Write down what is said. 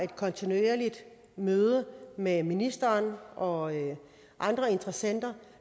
kontinuerlige møder med ministeren og andre interessenter